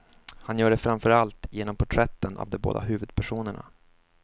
Han gör det framför allt genom porträtten av de båda huvudpersonerna.